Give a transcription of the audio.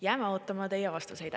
" Jääma ootama teie vastuseid.